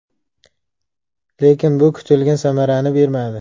Lekin bu kutilgan samarani bermadi.